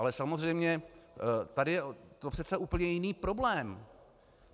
Ale samozřejmě tady je to přece úplně jiný problém.